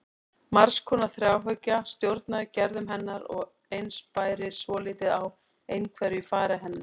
Margs konar þráhyggja stjórnaði gerðum hennar og eins bæri svolítið á einhverfu í fari hennar.